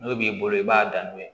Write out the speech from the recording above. N'o b'i bolo i b'a dan n'o ye